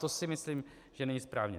To si myslím, že není správné.